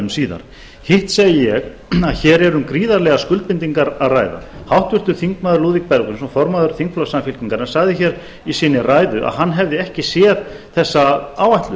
um síðar hitt segi ég að hér erum gríðarlegar skuldbindingar að ræða háttvirts þingmanns lúðvík bergvinsson formaður þingflokks samfylkingarinnar sagði hér í sinni ræðu að hann hefði ekki séð þessa áætlun